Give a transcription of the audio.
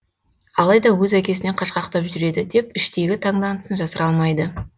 алайда өз әкесінен қашқақтап жүреді деп іштейгі таңданысын жасыра алмайды